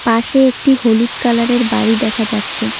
পাশে একটি হলুদ কালার -এর বাড়ি দেখা যাচ্ছে।